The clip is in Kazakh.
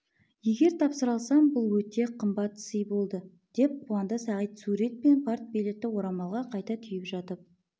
егер тапсыра алсам бұл өте қымбат сый болды деп қуанды сағит сурет пен партбилетті орамалға қайта түйіп жатып